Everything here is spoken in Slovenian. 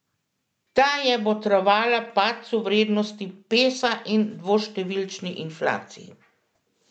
Ta je botrovala padcu vrednosti pesa in dvoštevilčni inflaciji.